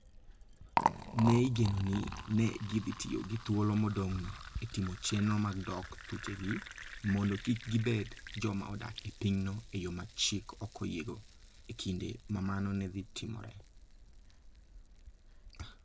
Ne igeno ni ne gidhi tiyo gi thuolo modong'no e timo chenro mag dok thuchegi, mondo kik gibed joma odak e pinyno e yo ma chik ok oyiego, e kinde ma mano ne dhi timore.